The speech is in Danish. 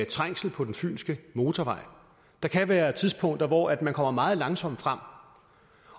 trængsel på den fynske motorvej der kan være tidspunkter hvor man kommer meget langsomt frem